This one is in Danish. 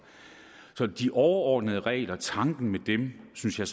så de overordnede regler og tanken med dem synes jeg